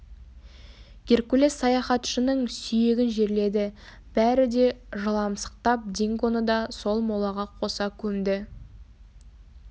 геркулес саяхатшының сүйегін жерледі бәрі де жыламсықтап дингоны да сол молаға қоса көмді